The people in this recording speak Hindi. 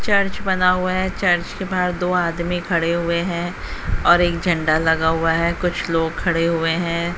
चर्च बना हुआ है चर्च के बाहर दो आदमी खड़े हुए हैं और एक झंडा लगे हुआ है कुछ लोग खड़े हुए हैं।